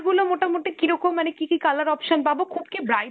গুলো মোটামুটি কীরকম মানে কী কী colour option পাবো? খুব কি bright